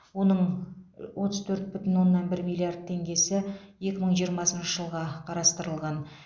оның отыз төрт бүтін оннан бір миллиард теңгесі екі мың жиырмасыншы жылға қарастырылған